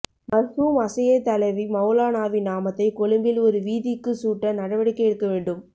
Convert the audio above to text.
மர்ஹூம் அஸ்ஸெய்யித் அலவி மௌலானாவின் நாமத்தை கொழும்பில் ஒரு வீதிக்கு சூட்ட நடவடிக்கை எடுக்க வேண்டும்